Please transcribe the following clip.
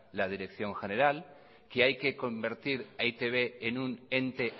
la dirección general que hay que convertir a e i te be en un ente